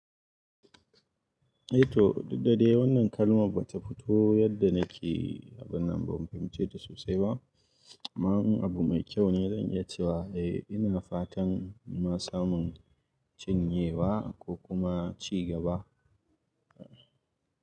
Eh to duk da dai wannan kalmar ba ta fito yadda nake abin nan ba, ban fahimce ta sosai ba. Amma in abu mai kyau ne zan iya cewa eh, ina fatan ina samun cinyewa ko kuma ci gaba.